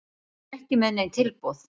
Ég er ekki með nein tilboð.